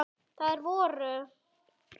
Þær voru